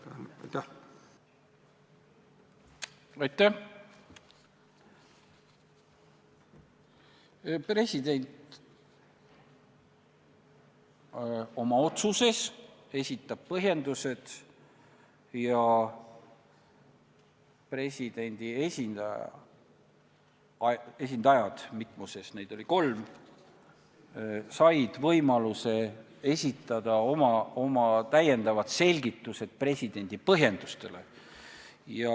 President esitab oma otsuses põhjendused ja presidendi esindajad – neid oli kolm – said võimaluse presidendi põhjendustele lisada oma selgitused.